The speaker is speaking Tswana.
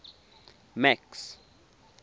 max